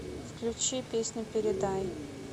включи песню передай